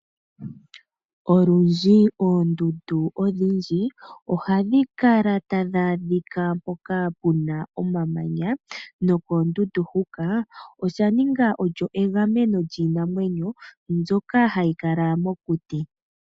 Olundji oondundu odhindji ohadhi kala tadhi adhika mpoka puna omamanya no koondundu huka osha ninga olyo egameno lyiinamwenyo mbyoka hayi kala mokuti.